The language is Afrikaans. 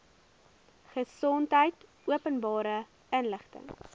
gesondheid openbare inligting